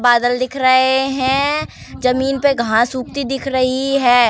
बादल दिख रहे हैं। जमीन पे घास उगती दिख रही है।